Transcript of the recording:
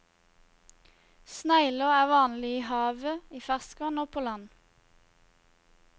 Snegler er vanlig i havet, i ferskvann og på land.